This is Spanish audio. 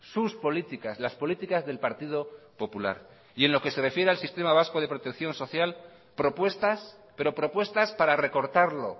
sus políticas las políticas del partido popular y en lo que se refiere al sistema vasco de protección social propuestas pero propuestas para recortarlo